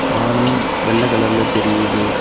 வானம் வெள்ள கலர்ல தெரியுது.